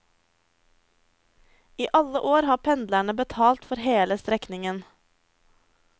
I alle år har pendlerne betalt for hele strekningen.